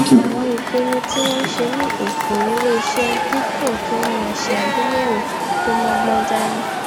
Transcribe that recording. àwọn ìpinnu tí wón ń ṣe ní òpò iléeṣé dípò kí wón máa ṣe àgbéyèwò tó mógbón dání